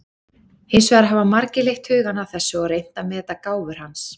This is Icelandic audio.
Hins vegar hafa margir leitt hugann að þessu og reynt að meta gáfur hans.